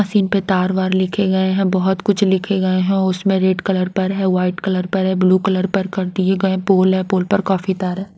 Machine पर तारवार लिखे गए हैं बहुत कुछ लिखे गए हैं उसमें रेड कलर पर है वाइट कलर पर है ब्लू कलर पर कर दिए गए पोल है पोल पर काफी तार है।